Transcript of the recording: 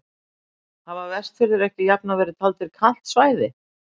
Hafa Vestfirðir ekki jafnan verið taldir kalt svæði?